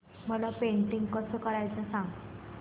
मला पेंटिंग कसं करायचं सांग